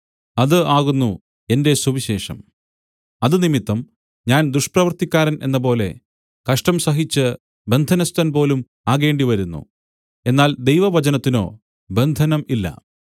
അത് ആകുന്നു എന്റെ സുവിശേഷം അത് നിമിത്തം ഞാൻ ദുഷ്പ്രവൃത്തിക്കാരൻ എന്നപോലെ കഷ്ടം സഹിച്ച് ബന്ധനസ്ഥൻ പോലും ആകേണ്ടി വരുന്നു എന്നാൽ ദൈവവചനത്തിനോ ബന്ധനം ഇല്ല